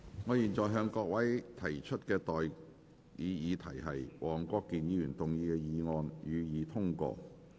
我現在向各位提出的待議議題是：黃國健議員動議的議案，予以通過。